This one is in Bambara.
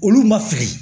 Olu ma fili